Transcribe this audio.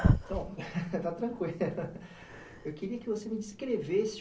Está tranquilo, eu queria que você me descrevesse